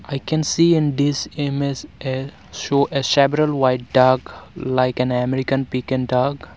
i can see in dis image a show a several white duck like an american piken duck.